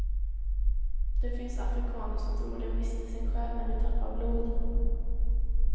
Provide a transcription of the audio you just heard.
Det finns afrikaner som tror de mister sin själ när vi tappar blod.